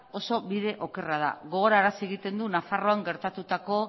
oso bide okerra da gogorarazi egiten du nafarroan gertatutako